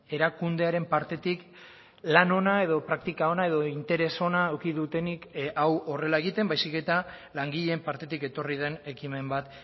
erakundearen partetik lan ona edo praktika ona edo interes ona eduki dutenik hau horrela egiten baizik eta langileen partetik etorri den ekimen bat